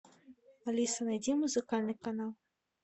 алиса найди музыкальный канал